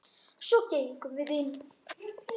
Svo gengum við inn.